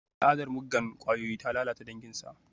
Al'adar muggan kwayoyi ta lalata danginsa.